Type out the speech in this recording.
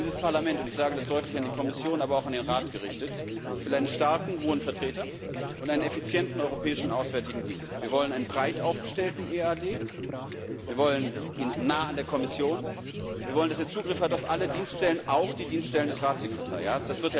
Dieses Parlament und ich sage das deutlich an die Kommission, aber auch an den Rat gerichtet will einen starken Hohen Vertreter und einen effizienten Europäischen Auswärtigen Dienst. Wir wollen einen breit aufgestellten EAD, wir wollen ihn nah an der Kommission, und wir wollen, dass er Zugriff auf alle Dienststellen hat, auch auf die Dienststellen des Ratssekretariats.